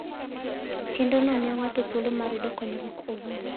Chenrono miyo ng'ato thuolo mar yudo konyruok owuon.